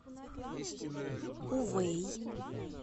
увэй